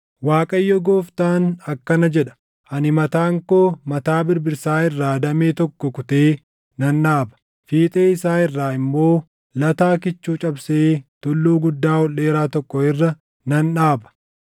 “‘ Waaqayyo Gooftaan akkana jedha: Ani mataan koo mataa birbirsaa irraa damee tokko kutee nan dhaaba; fiixee isaa irraa immoo lataa kichuu cabsee tulluu guddaa ol dheeraa tokko irra nan dhaaba.